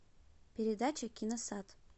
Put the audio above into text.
передача киносад